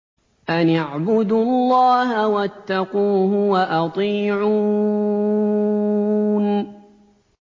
أَنِ اعْبُدُوا اللَّهَ وَاتَّقُوهُ وَأَطِيعُونِ